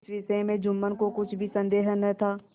इस विषय में जुम्मन को कुछ भी संदेह न था